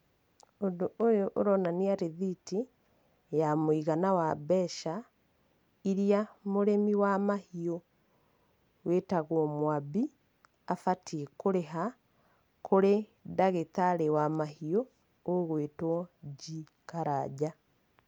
Ũndũ ũyu ũronania rithiti, ya mũigana wa mbeca, iria mũrĩmi wa mahiũ wĩtagwo Mwambi, abatiĩ kũrĩha kũrĩ ndagĩtarĩ wa mahiũ ũgwĩtwo G. Karanja.